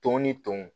Tɔn ni ton